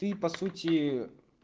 ты по сути